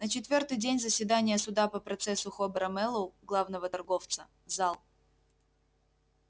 на четвёртый день заседания суда по процессу хобера мэллоу главного торговца зал